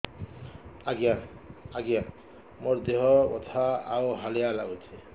ଆଜ୍ଞା ମୋର ଦେହ ବଥା ଆଉ ହାଲିଆ ଲାଗୁଚି